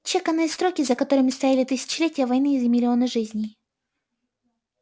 чеканные строки за которыми стояли тысячелетия войны и миллионы жизней